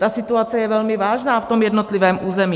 Ta situace je velmi vážná v tom jednotlivém území.